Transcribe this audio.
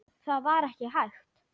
Það var ekki hægt.